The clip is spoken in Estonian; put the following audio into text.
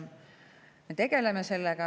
Me tegeleme sellega.